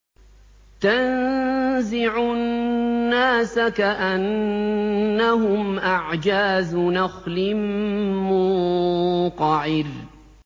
تَنزِعُ النَّاسَ كَأَنَّهُمْ أَعْجَازُ نَخْلٍ مُّنقَعِرٍ